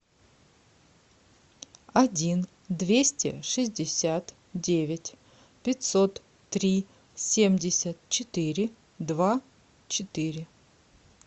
один двести шестьдесят девять пятьсот три семьдесят четыре два четыре